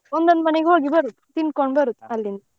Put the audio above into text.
ಒಂದೊಂದು ಮನೆಗೆ ಹೋಗಿ ಬರೋದು ತಿನ್ಕೊಂಡು ಬರುದು ಅಲ್ಲಿಂದ.